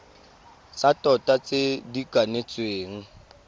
tsa tota tse di kanetsweng